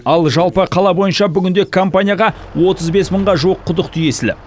ал жалпы қала бойынша бүгінде компанияға отыз бес мыңға жуық құдық тиесілі